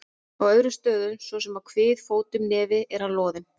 Á öðrum stöðum, svo sem á kvið, fótum og nefi er hann loðinn.